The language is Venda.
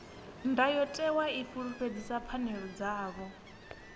ndayotewa i fulufhedzisa pfanelo dzavho